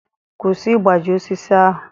Kwụsị ịgbaji osisi ahụ!